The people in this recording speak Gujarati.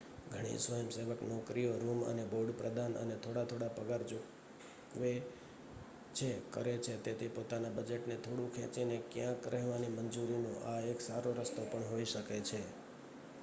ઘણી સ્વયંસેવક નોકરીઓ રૂમ અને બોર્ડ પ્રદાન અને થોડા થોડા પગાર ચૂકવે છે કરે છે તેથી પોતાના બજેટને થોડું ખેંચીને ક્યાંક રહેવાની મંજૂરીનો આ એક સારો રસ્તો પણ હોઈ શકે છે